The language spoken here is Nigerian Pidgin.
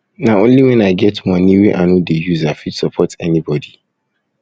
na only wen i get moni wey i no dey use i fit support anybodi